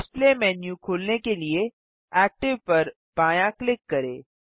display menu खोलने के लिए एक्टिव पर बायाँ क्लिक करें